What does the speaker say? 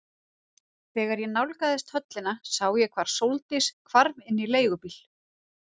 Þegar ég nálgaðist höllina sá ég hvar Sóldís hvarf inn í leigubíl.